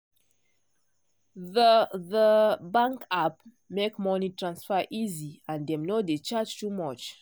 the the bank app make money transfer easy and dem no dey charge too much.